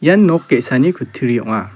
ian nok ge·sani kutturi ong·a.